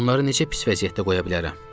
Onları necə pis vəziyyətdə qoya bilərəm?